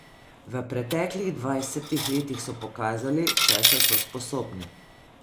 V preteklih dvajsetih letih so pokazali, česa so sposobni.